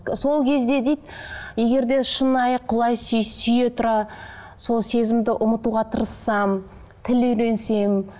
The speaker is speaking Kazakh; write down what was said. сол кезде дейді егер де шынайы құлай сүй сүйе тұра сол сезімді ұмытуға тырыссам тіл үйренсем